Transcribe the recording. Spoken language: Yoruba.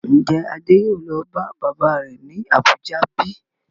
Ń jẹ́ Adé yìí ó lọ bá bàbá rẹ̀ ni Abuja bíi?